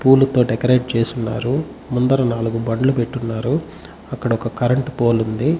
పూల తో డెకరేట్ చేసి ఉన్నారు ముందర నాలుగు బండ్లు పెటున్నారు అక్కడ ఒక కరెంటు పోలె ఉంది.